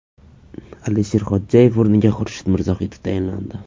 Alisher Xodjayev o‘rniga Xurshid Mirzohidov tayinlandi .